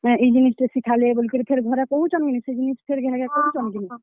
ଏଁ ଇ ଜିନିଷ୍ ଟେ ଶିଖାଲେ, ବଲିକରି ଫେର୍ ଘରେ କହୁଛନ୍ କିନି, ସେ ଜିନିଷ୍ ଫେର୍ ଘେ ଘେ କହୁଛନ୍ କିନି?